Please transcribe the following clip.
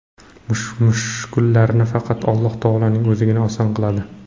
Mushkullarni faqat Alloh taoloning O‘zigina oson qiladi.